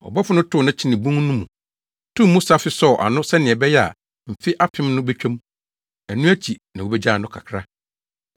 Ɔbɔfo no tow no kyenee bun no mu, too mu safe sɔw ano sɛnea ɛbɛyɛ a mfe apem no betwa mu. Ɛno akyi na wobegyaa no kakra.